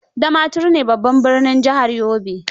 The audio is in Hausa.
Damaturu ne babban birnin jihar Yobe.